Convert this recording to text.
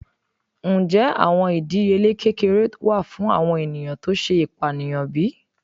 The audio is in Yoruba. Njẹ awọn idiyele kekere wa fun awọn eniyan ti o ṣe ipaniyan bi?